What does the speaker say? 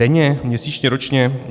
Denně, měsíčně, ročně?